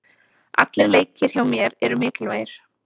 Allir leikir hjá mér eru mikilvægir.